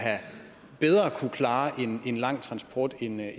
kunne klare en lang transport end